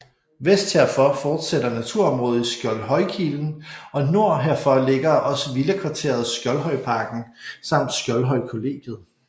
Vest herfor fortsætter naturområdet i Skjoldhøjkilen og nord herfor ligger også villakvarteret Skjoldhøjparken samt Skjoldhøjkollegiet